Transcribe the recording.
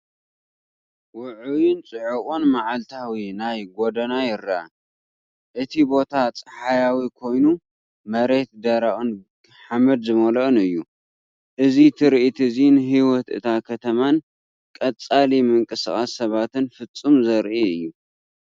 ውዑይን ጽዑቕን መዓልታዊ ናይ ጎደና ይረአ፣ እቲ ቦታ ጸሓያዊ ኮይኑ መሬት ደረቕን ሓመድ ዝመልኦን እዩ። እዚ ትርኢት እዚ ንህይወት እታ ከተማን ቀጻሊ ምንቅስቓስ ሰባትን ፍጹም ዘርኢ እዩ!